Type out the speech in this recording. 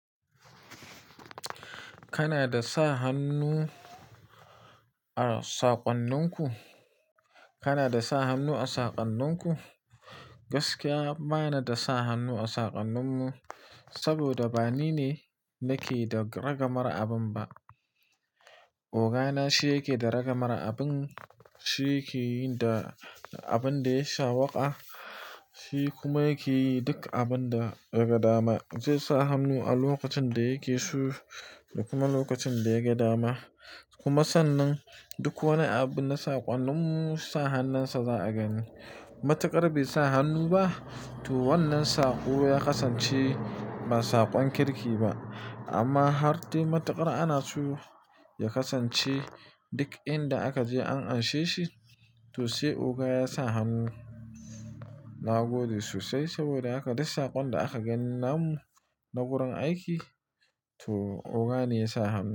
Kana da sa hannu a saƙonninku? Kana da sa hannu a saƙonninku? Gaskiya bana da sa hannu a saƙonninmu, saboda ba ni ne nake da ragamar abin ba. Oga na shi yake da ragamar abin, shi yake yi da abin dai sawoƙa, shi kuma yake yi duk abin da ya gadama. Zai sa hannu a lokacin da yake so da kuma lokacin da ya gama. Kuma sannan duk wani abin na saƙanninmu sa hannun sa za a gani. Mataƙara bai sa hannu ba, toh wannan saƙo ya kasance ba saƙon kirki ba. Amma har dai mataƙara ana so ya kasance duk inda aka je an gaishe shi. Toh sai oga ya sa hannu, na gode sosai saboda haka dai saƙon da aka gani namu na wurin aiki, toh oga ne ya sa hannu.